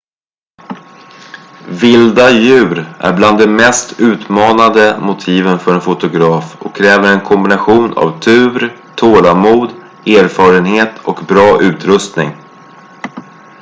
vilda djur är bland de mest utmanande motiven för en fotograf och kräver en kombination av tur tålamod erfarenhet och bra utrustning